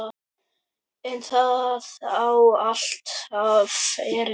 En það á alltaf erindi.